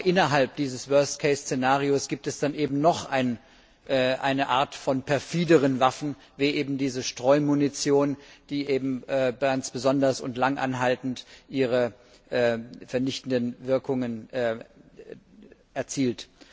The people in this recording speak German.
Aber innerhalb dieses worst case Szenarios gibt es dann eben noch eine Art von perfideren Waffen, wie eben diese Streumunition, die ganz besonders und langanhaltend ihre vernichtenden Wirkungen erzielt.